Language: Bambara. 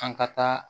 An ka taa